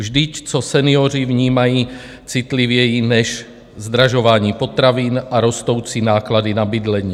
Vždyť co senioři vnímají citlivěji než zdražování potravin a rostoucí náklady na bydlení?